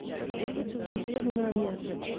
elleve tusind fire hundrede og nioghalvfems